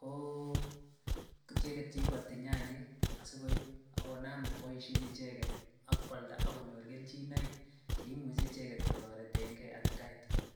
ko icheket cheiboti nyanyik asikoib ak konam koboishen icheket ak kwalda ak konyor kelchinoik cheimuche kotoreteng'e icheket.